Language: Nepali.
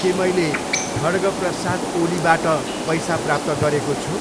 के मैले खढग् प्रसाद ओलीबाट पैसा प्राप्त गरेको छु?